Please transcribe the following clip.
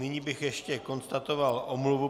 Nyní bych ještě konstatoval omluvu.